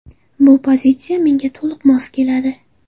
Bu pozitsiya menga to‘liq mos keladi.